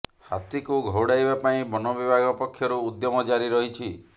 ହାତୀକୁ ଘଉଡାଇବା ପାଇଁ ବନବିଭାଗ ପକ୍ଷରୁ ଉଦ୍ୟମ ଜାରି ରହିଛି